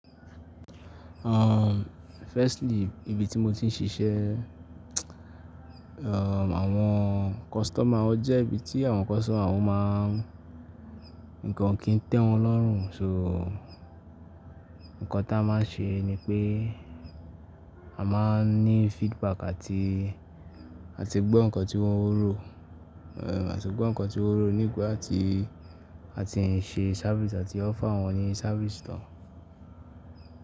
Um, firstly, ibi tí mo ti ń ṣiṣẹ́, um, àwọn customer, ó jẹ́ ibi tí àwọn customer wọ́n máa ń, ǹkan o kì í tẹ́ wọn lọ́rùn. So, ǹkan tí a máa ń ṣe ni pé a máa ń ní feedback àti, àti gbọ́ ǹkan tí wọ́n ń rò, àti gbọ́ ǹkan tí wọ́n rò nígbà tí a ti ń ṣe service àti offer wọ́n ní service tán.